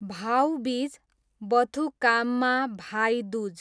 भाउ बिज बथुकाममा, भाइ दुज